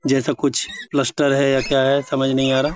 जैसा कुछ पलस्तर है या क्या है। समझ नहीं आ रहा।